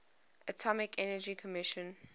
atomic energy commission